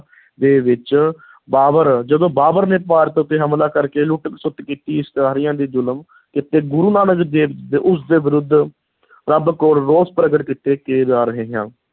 ਦੇ ਵਿੱਚ ਬਾਬਰ, ਜਦੋਂ ਬਾਬਰ ਨੇ ਭਾਰਤ ਉੱਤੇ ਹਮਲਾ ਕਰਕੇ ਲੁੱਟ-ਖਸੁੱਟ ਕੀਤੀ, ਇਸਤਰੀਆਂ ਤੇ ਜ਼ੁਲਮ ਕੀਤੇ, ਗੁਰੂ ਨਾਨਕ ਦੇਵ ਉਸ ਦੇ ਵਿਰੁੱਧ ਰੱਬ ਕੋਲ ਰੋਸ ਪ੍ਰਗਟ ਕੀਤੇ